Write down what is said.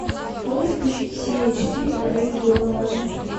можешь включить серия четыре рэй донован